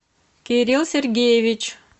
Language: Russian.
кирилл сергеевич